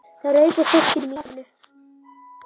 Það rauk úr fiskinum í fatinu.